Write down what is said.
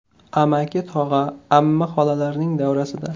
Amaki-tog‘a, amma-xolalarning davrasida.